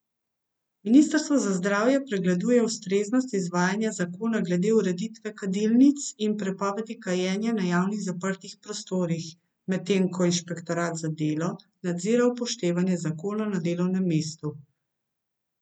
Ministrstvo za zdravje pregleduje ustreznost izvajanja zakona glede ureditve kadilnic in prepovedi kajenja na javnih zaprtih prostorih, medtem ko inšpektorat za delo nadzira upoštevanje zakona na delovnem mestu.